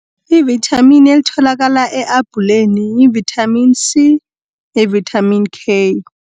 I-vithamini elitholakala e-abhuleni yi-vitamin C ne-vithamini K.